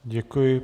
Děkuji.